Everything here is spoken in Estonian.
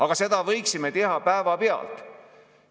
Aga seda võiksime teha päevapealt.